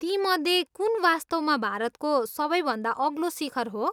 तीमध्ये कुन वास्तवमा भारतको सबैभन्दा अग्लो शिखर हो?